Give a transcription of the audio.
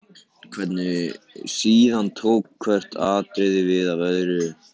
Síðan tók hvert atriðið við af öðru.